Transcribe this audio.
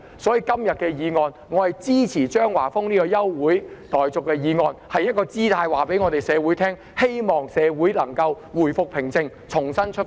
所以，我支持張華峰議員今天提出的休會待續議案，這是一個姿態，是要告訴社會，希望社會能夠回復平靜，重新出發。